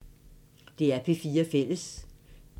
DR P4 Fælles